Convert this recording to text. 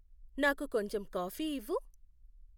నాకు కొంచెం కాఫీ ఇవ్వు